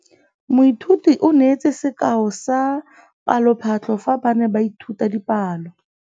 Moithuti o neetse sekaô sa palophatlo fa ba ne ba ithuta dipalo.